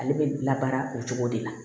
Ale bɛ labaara o cogo de la